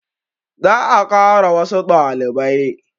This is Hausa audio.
Za a kara wassu ɗalibai